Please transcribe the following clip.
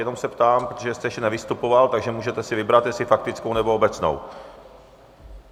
Jenom se ptám, protože jste ještě nevystupoval, takže můžete si vybrat, jestli faktickou, nebo obecnou.